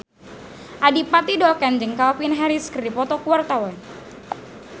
Adipati Dolken jeung Calvin Harris keur dipoto ku wartawan